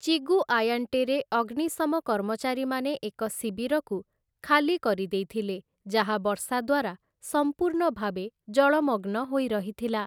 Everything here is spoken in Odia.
ଚିଗୁଆୟାଣ୍ଟେରେ ଅଗ୍ନିଶମ କର୍ମଚାରୀମାନେ ଏକ ଶିବିରକୁ ଖାଲି କରିଦେଇଥିଲେ ଯାହା ବର୍ଷା ଦ୍ୱାରା ସମ୍ପୂର୍ଣ୍ଣ ଭାବେ ଜଳମଗ୍ନ ହୋଇରହିଥିଲା ।